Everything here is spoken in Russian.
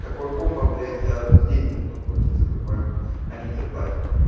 такое комбо блять я деньги готов платить за такое а некоторые платят